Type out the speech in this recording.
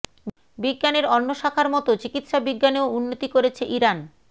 বিজ্ঞানের অন্য শাখার মতো চিকিৎসা বিজ্ঞানেও উন্নতি করেছে ইরান